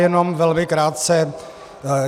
Jenom velmi krátce.